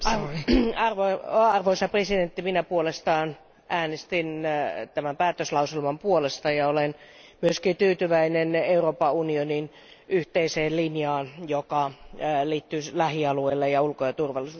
Arvoisa puhemies, minä puolestaan äänestin tämän päätöslauselman puolesta ja olen myöskin tyytyväinen Euroopan unionin yhteiseen linjaan, joka liittyy lähialueeseen ja ulko ja turvallisuuspolitiikkaan.